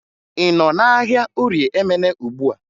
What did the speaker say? Ị nọ n'ahịa Orie Emene ugbua?